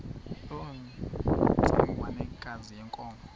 loo ntsengwanekazi yenkomo